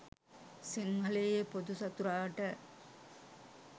සිංහලයේ පොදු සතුරාට